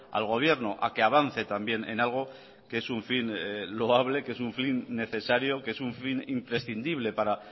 al gobierno a que avance también en algo que es un fin loable que es un fin necesario que es un fin imprescindible para